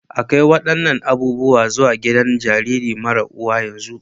A kai waɗannan abubuwan zuwa gidan jaririn mara uwa yanzu!